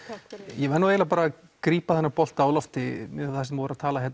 ég verð eiginlega bara að grípa þennan bolta á lofti um það sem þau voru að tala